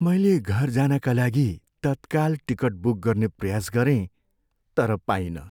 मैले घर जानका लागि तत्काल टिकट बुक गर्ने प्रयास गरेँ तर पाइनँ।